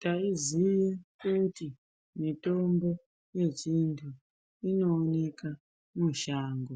Taiziye kuti mutombo yechintu inooneka mushango